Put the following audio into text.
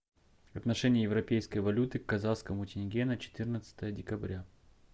отношение европейской валюты к казахскому тенге на четырнадцатое декабря